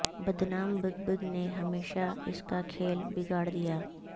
بدنام بگ بگ نے ہمیشہ اس کا کھیل بگاڑ دیا